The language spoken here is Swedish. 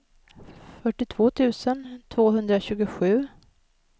fyrtiotvå tusen tvåhundratjugosju